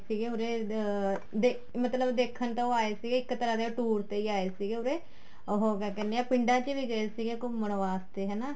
ਸੀਗੇ ਉਰੇ ਅਹ ਮਤਲਬ ਦੇਖਣ ਤਾਂ ਉਹ ਆਏ ਸੀ ਇੱਕ ਤਰ੍ਹਾਂ ਦੇ ਉਹ tour ਤੇ ਆਏ ਸੀਗੇ ਉਰੇ ਉਹ ਕਿਹਾ ਕਹਿਣੇ ਹਾਂ ਪਿੰਡਾਂ ਵਿੱਚ ਵੀ ਗਏ ਸੀ ਘੁੰਮਣ ਵਾਸਤੇ ਹਨਾ